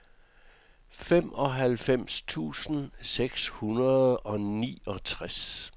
femoghalvfems tusind seks hundrede og niogtres